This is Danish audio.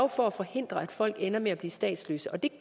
for at forhindre at folk ender med at blive statsløse og det